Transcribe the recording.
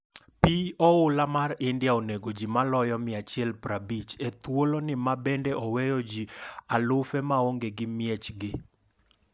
Pi oula mar India onego ji maloyo 150 e thuolo ni ma bende oweyo ji alufe maonge gi miechgi.